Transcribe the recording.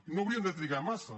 i no haurien de trigar massa